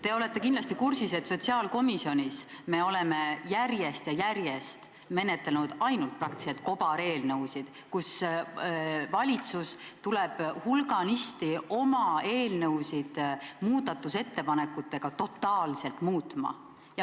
Te olete kindlasti kursis, et sotsiaalkomisjonis me oleme järjest ja järjest menetlenud ainult kobareelnõusid, valitsus tuleb hulganisti oma eelnõusid muudatusettepanekutega totaalselt muutma.